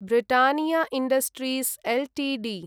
Britannia Industries Ltd